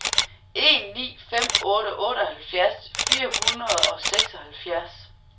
en ni fem otte otteoghalvfjerds fire hundrede og seksoghalvfjerds